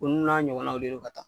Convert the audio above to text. Ulu n'a ɲɔgɔnaw de do ka taa.